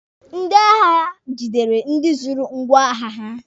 Ndị agha gidere ndị zuru ngwọagha ha.